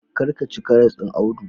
Kar ka ci karas ɗin Audu.